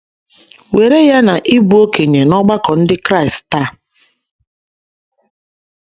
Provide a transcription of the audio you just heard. Were ya na ị bụ okenye n’ọgbakọ ndị Kraịst taa.